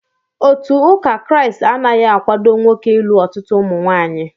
Otu ụka Kraịst anaghị akwado nwoke ịlụ ọtụtụ ụmụnwaanyị